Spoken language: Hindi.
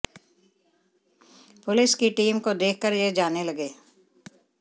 पुलिस की टीम को देख कर ये जाने लगे